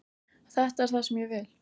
Þetta er það sem ég vil.